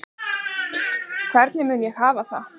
Hvar mun ég hafa það?